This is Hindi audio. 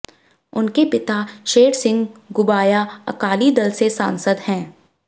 उनके पिता शेर िसंह घुबाया अकाली दल से सांसद हैं